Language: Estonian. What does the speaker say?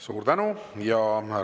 Suur tänu!